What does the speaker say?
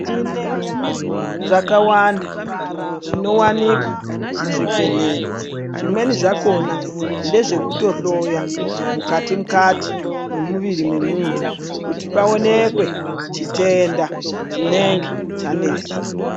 Tine zvakawanda zvinowanikwa kuzvibhedhleya zvimweni zvakona ngezvekutohloya mukati -kati mwemuviri wemuntu kuti paonekwe chitenda chinenge chanesa.